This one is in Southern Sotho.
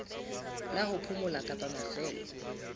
la ho phomola kapa mafelo